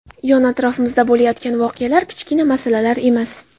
Yon-atrofimizda bo‘layotgan voqealar kichkina masalalar emas.